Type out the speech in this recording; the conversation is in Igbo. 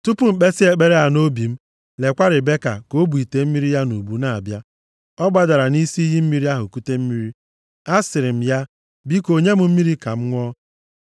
“Tupu m kpesịa ekpere a nʼobi m, lekwa Ribeka ka o bụ ite mmiri ya nʼubu ya na-abịa. Ọ gbadara nʼisi iyi mmiri ahụ kute mmiri. Asịrị m ya, ‘Biko nye m mmiri ka m ṅụọ.’